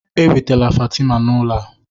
Ewetala Fatima n'ụlọ a